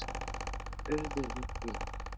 Þeir urðu við því.